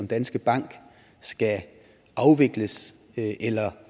danske bank skal afvikles eller